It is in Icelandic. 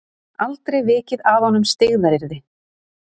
Aldrei vikið að honum styggðaryrði.